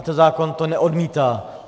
A ten zákon to neodmítá.